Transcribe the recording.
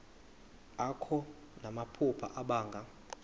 akho namaphupha abanga